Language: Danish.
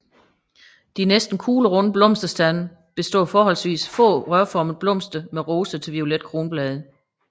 De næsten kuglerunde blomsterstande består af forholdsvis få rørformede blomster med rosa til violette kronblade